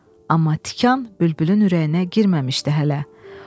Amma tikan bülbülün ürəyinə girməmişdi hələ.